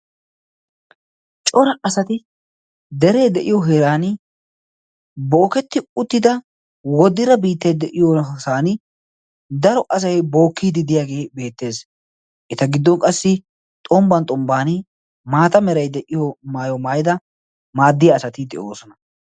Cora asati deree de'iyo heran booketti uttida woodira biittayde'iyosan daro asai bookkiididiyaagee beettees eta giddon qassi xombban xombban maata merai de'iyo maayo maayida maaddiya asati de'oosona.